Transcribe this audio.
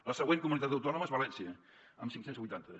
la següent comunitat autònoma és valència amb cinc cents i vuitanta